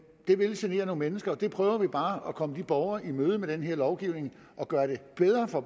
det vil genere nogle mennesker og der prøver vi bare at komme de borgere i møde med den her lovgivning og gøre det bedre for